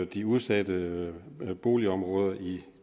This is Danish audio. de udsatte boligområder i